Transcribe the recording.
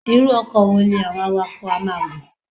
Irú ọkọ̀ wo làwọn awakọ̀ á máa gùn?